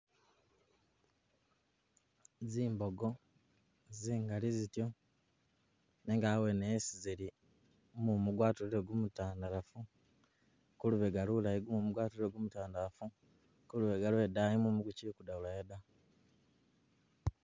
Zimbogo zingali zityo nenga abwene esi zili gumumu gwatulile gumutandalafu kulubega lulayi gumumu gwatulile gu mutandalafu kuluwande lwe idaayi mumu gukili kudabulayo da.